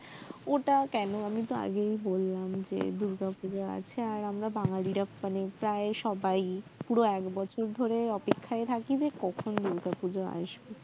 ওটা কেন আমিতো আগেই বললাম যে দুর্গা পুজা আছে আর আমরা বাঙালিরা মানে প্রায় সবাই পুরো এক বছর ধরে অপেক্ষায় থাকি যে কখন দুর্গা পূজা আসবে